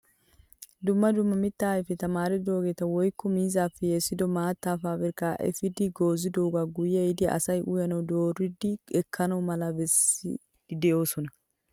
dumma dumma mittaa ayfeta maaridogeta woykko miizzaappe yeessido maattaa pabirkkaa epiidi goozzidoogaa guye ehiidi asay uyanawu dooridi ekkana mala bessiidi de'oosona.